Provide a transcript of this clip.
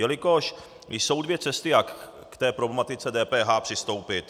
Jelikož jsou dvě cesty, jak k té problematice DPH přistoupit.